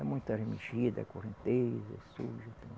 É muita da correnteza, suja.